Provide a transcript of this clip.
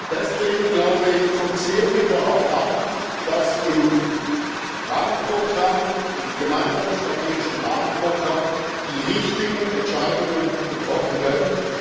Deswegen, glaube ich, kommt es sehr darauf an, dass im Gemeinsamen Strategischen Rahmenprogramm die richtigen Entscheidungen getroffen werden.